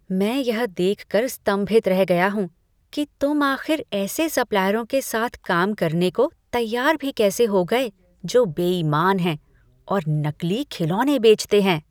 मैं यह देख कर स्तंभित रह गया हूँ कि तुम आख़िर ऐसे सप्लायरों के साथ काम करने को तैयार भी कैसे हो गए जो बेईमान हैं और नकली खिलौने बेचते हैं ।